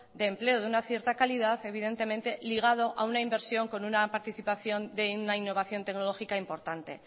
de empleo de una cierta calidad evidentemente ligado a una inversión con una participación de una innovación tecnológica importante